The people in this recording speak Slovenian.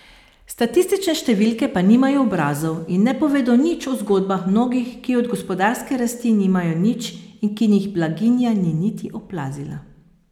Statistične številke pa nimajo obrazov in ne povedo nič o zgodbah mnogih, ki od gospodarske rasti nimajo nič in ki jih blaginja ni niti oplazila.